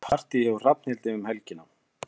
Það er partí hjá Hrafnhildi um helgina.